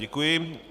Děkuji.